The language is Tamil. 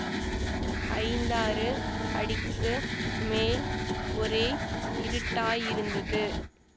ஐந்தாறு அடிக்கு மேல் ஒரே இருட்டாயிருந்தது